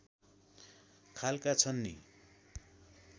खालका छन् नि